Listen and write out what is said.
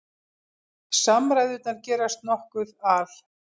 Samræðurnar gerast nokkuð al